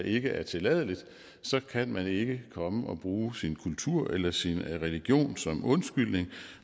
ikke er tilladeligt så kan man ikke komme og bruge sin kultur eller sin religion som undskyldning